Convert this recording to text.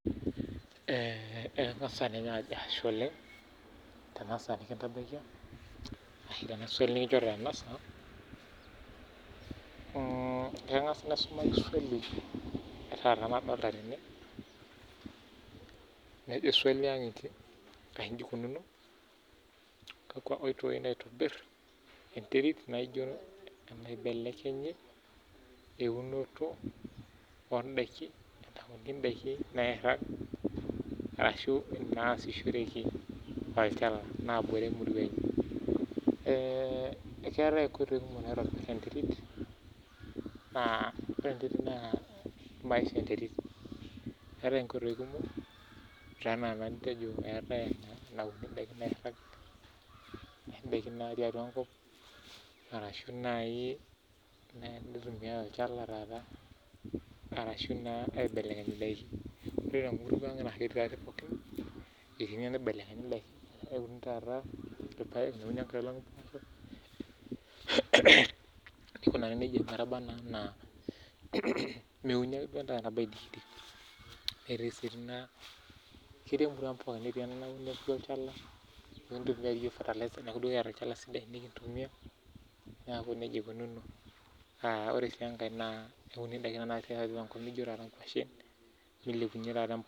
ee eng'as ninye Ashe oleng Tena saa nikintabaikia arashu Tena swali nikinjorita oo ang'as naisumaki swali ena nadolita tene nejo swali naa ini eikunono kakua oitoi naitobir enterit nibelekeny eunoto oo ndakin nairag arashu nasishoreki tolchamba nabore emurua keetae nkoitoi kumok naitobir enterit naa ore enterit naa maisha enterit ore nkoitoi kumok ena enitejo enaunu ndaiki nairag neetae ndaki natii atua enkop arashu naaji neitumiai olchala taata arashu aibelekenya endaiki ore tenkop ang naa ketii taadoi pookin ketii enaibelekenyi ndakin neuni taata irpaek neuni enkailog mboshok nikure neijia meuni ake duo endaa nabo aidikidik netii sii enankae napiki olchala neitokini apik fertilizer nikintumia neeku nejia eikunono naa ore sii enkae naa keuni ndaiki tiatua enkop naijio nkwashen milepunye taata